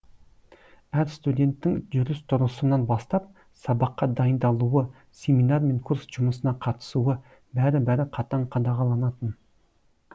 әр студенттің жүріс тұрысынан бастап сабаққа дайындалуы семинар мен курс жұмысына қатысуы бәрі бәрі қатаң қадағаланатын